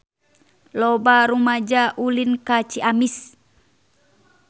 Loba rumaja ulin ka Ciamis